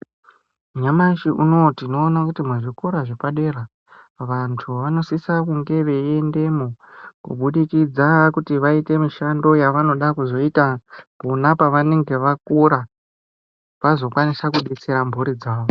Nyamashi unou tinoona kuti muzvikora zvepadera vantu vanosise kunge veiendemwo kubudikidza kuti vaite mishando yavanoda kuzoita pona pavanenge vakura vazokwanisa kudetsera mhuri dzavo.